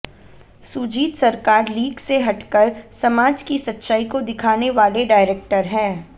सुजीत सरकार लीक से हटकर समाज की सच्चाई को दिखाने वाले डायरेक्टर हैं